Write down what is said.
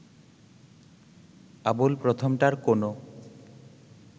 আবুল প্রথমটার কোনো